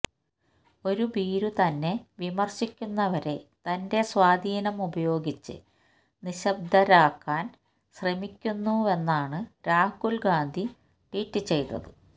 ഒരു ഭീരു തന്നെ വിമര്ശിക്കുന്നവരെ തന്റെ സ്വാധീനം ഉപയോഗിച്ച് നിശബ്ദരാക്കാന് ശ്രമിക്കുന്നുവെന്നാണ് രാഹുല് ഗാന്ധി ട്വീറ്റ് ചെയ്തത്